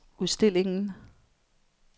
udstillingen